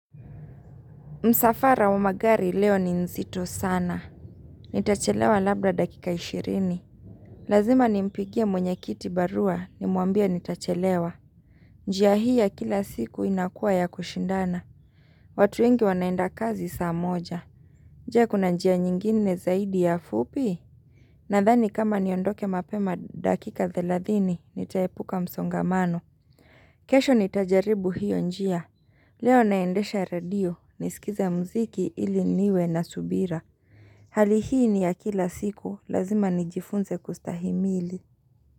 Msafara wa magari leo ni nzito sana. Nitachelewa labda dakika ishirini. Lazima nimpigie mwenye kiti barua nimwambie nitachelewa. Njia hii ya kila siku inakua ya kushindana. Watu wengi wanaenda kazi saa moja. Je kuna njia nyingine zaidi ya fupi? Nadhani kama niondoke mapema dakika thelathini nitaepuka msongamano. Kesho nitajaribu hiyo njia. Leo naendesha redio, nisikize mziki ili niwe na subira. Hali hii ni ya kila siku, lazima nijifunze kustahimili.